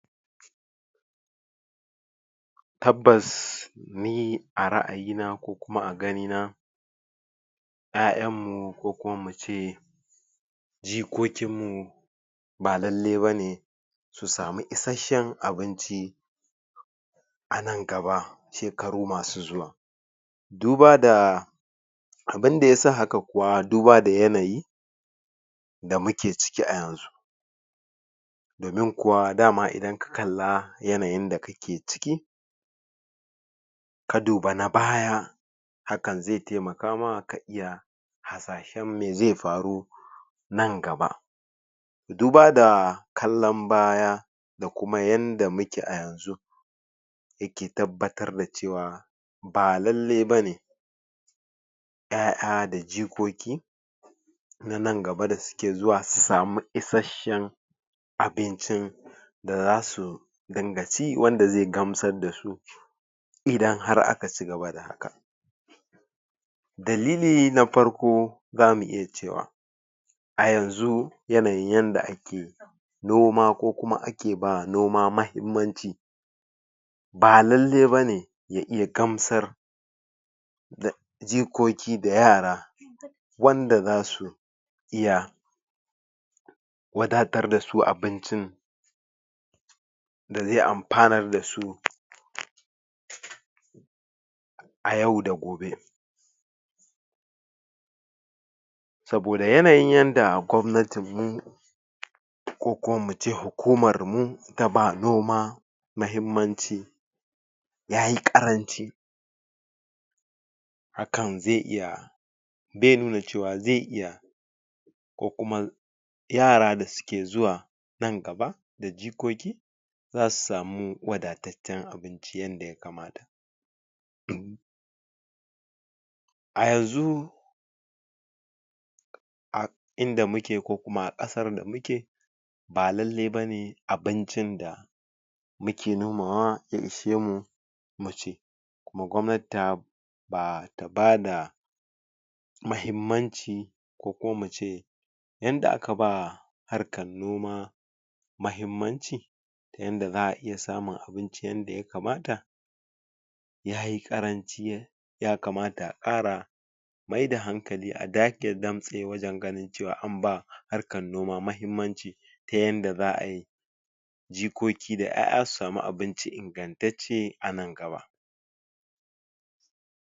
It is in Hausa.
Tabbas, ni a ra'ayina ko kuma a gani na, ƴaƴan mu, ko kuma mu ce jikokin mu, ba lallai bane su samu isashshen abinci a nan gaba, shekaru masu zuwa. Duba da abunda yasa haka kuwa, duba da yanayi da muke ciki a yanzu. Domin kuwa, dama idan ka kalla yanayin da kake ciki, ka duba na baya, hakan zai taimaka ma ka iya hasashen mai zai faru nan gaba. Duba da kallan baya, da kuma yanda muke a yanzu, yake tabbatar da cewa, ba lallai bane ƴaƴa da jikoki na nan gaba da suke zuwa, su sami isashshen abincin da zasu dinga ci, wanda zai gamsad da su, idan har aka cigaba da haka. Dalili na farko zamu iya cewa, a yanzu yanayin yanda ake noma, ko kuma ake ba noma mahimmanci, ba lallai bane ya iya gamsar da jikoki da yara, wanda zasu iya wadatar dasu abincin da zai amfanar da su, a yau da gobe. Saboda yanayin yanda gwamnatin mu, ko kuma mu ce hukumar mu, ta ba noma mahimmanci, yayi ƙaranci. Hakan ze iya be nuna cewa ze iya, ko kuma ko kuma yara da suke zuwa nan gaba, da jikoki, za su samu wadataccen abinci yadda ya kamata. A yanzu, a inda mu ke ko kuma ƙasar da mu ke, ba lallai bane abincin da muke nomawa, ya ishe mu mu ci. Kuma gwamnati ta ba ta bada mahimmanci, ko kuma mu ce yanda aka ba harkan noma mahimmanci, ta yanda za a iya samun abinci yanda ya kamata, yayi ƙaranci, ya kamata a ƙara maida hankali, a dage damtse wajen ganin cewa an ba harkan noma mahimmanci, ta yanda za ai jikoki da ƴaƴa su sami abinci ingantacce a nan gaba.